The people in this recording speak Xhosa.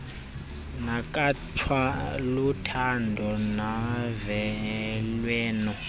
nekhatshwa luthando novelwano